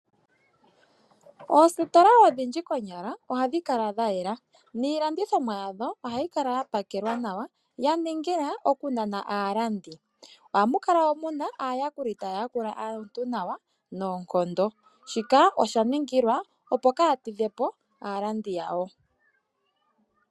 Oositola odhindji konyala ohadhi kala dha yela. Niilandithomwa yadho ohayi kala ya pakelwa nawa ya ningila okunana aalandi. Ohamu kala mu na aayakuli taya yakula aantu nawa noonkondo. Shika osha ningilwa, opo kaya tidhe po aalandi yawo.